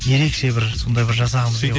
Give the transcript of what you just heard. ерекше бір сондай бір жасағымыз